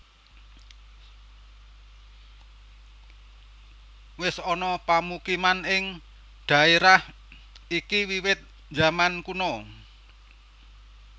Wis ana pamukiman ing dhaérah iki wiwit zaman kuna